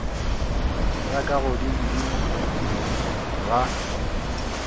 ya ka godimo godimo ga